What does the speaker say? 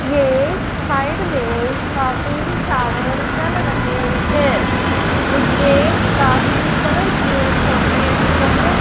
ये साइड में काफी शावर चल रहे हैं नीचे काफी कलरफुल छोटे गमले--